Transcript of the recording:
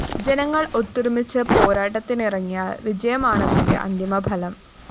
ജനങ്ങള്‍ ഒത്തൊരുമിച്ച്‌ പോരാട്ടത്തിനിറങ്ങിയാല്‍ വിജയമാണതിന്റെ അന്തിമഫലം